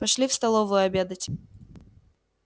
пошли в столовую обедать